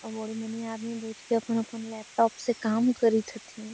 आदमी बईठ के अपन अपन लेपटॉप से काम करत छथिन।